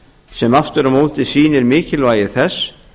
sem aftur á móti sýnir mikilvægi þess